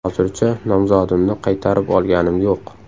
Hozircha nomzodimni qaytarib olganim yo‘q.